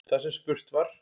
Þar sem spurt var